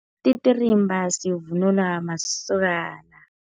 Isititirimba sivunulwa masokana.